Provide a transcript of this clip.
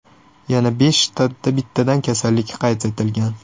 Yana besh shtatda bittadan kasallik qayd etilgan.